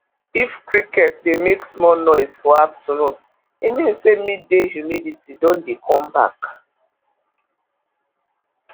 if cricket dey make small noise for afternoon e mean say midday humidity don dey come back